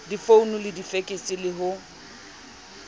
difounu le difekse le ho